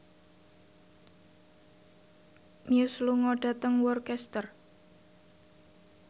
Muse lunga dhateng Worcester